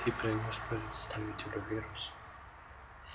ты принёс представителю вирус